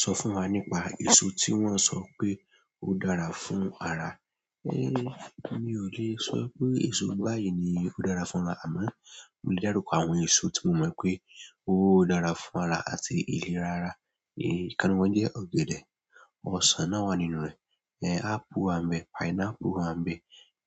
Sọ fún wa nípa èso tí wọ́n sọ pé ó dára fún ara. É mi ò le sọ pé èso báyìí ni ó dára fún ara, àmọ́ mo lè dárúkọ àwọn èso tí mo mọ̀ pé ó dára fún ara àti ìlera ara. É kan nínú wọn jẹ́ ọ̀gẹ̀dẹ̀, ọsàn náà wà nínú rẹ̀, apple wà n bẹ́, pineapple wà n bẹ́,